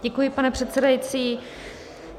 Děkuji, pane předsedající.